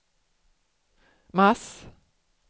mars